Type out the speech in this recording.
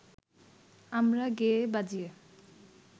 আমরা গেয়ে বাজিয়ে